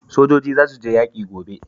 Sojoji za su je yaƙi gobe